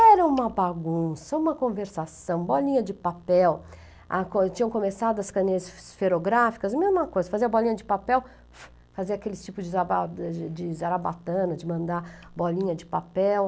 Era uma bagunça, uma conversação, bolinha de papel, tinham começado as caninhas esferográficas, mesma coisa, fazia bolinha de papel, fazia aquele tipo de zarabatana, de mandar bolinha de papel.